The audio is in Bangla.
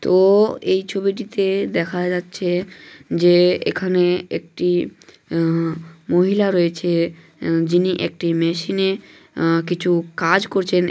তো-ও -ও এই ছবিটিতে দেখা যাচ্ছে যে এখানে একটি আহ মহিলা রয়েছে যিনি একটি মেশিনে আহ কিছু কাজ করছেন--